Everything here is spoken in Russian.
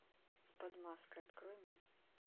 под маской открой мне